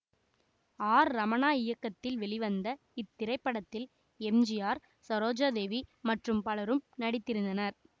R Ramanna இயக்கத்தில் வெளிவந்த இத்திரைப்படத்தில் M G R Saroja Devi மற்றும் பலரும் நடித்திருந்தனர்